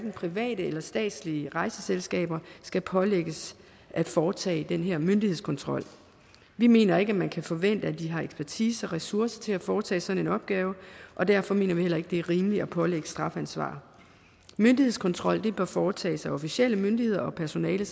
private eller statslige rejseselskaber skal pålægges at foretage den her myndighedskontrol vi mener ikke at man kan forvente at de har ekspertise og ressourcer til at foretage sådan en opgave og derfor mener vi heller ikke at det er rimeligt at pålægge dem strafansvar myndighedskontrol bør foretages af officielle myndigheder og af personale